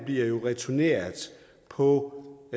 bliver jo returneret på